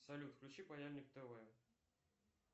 салют включи паяльник тв